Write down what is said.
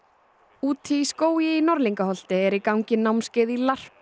úti í skógi í Norðlingaholti er í gangi námskeið í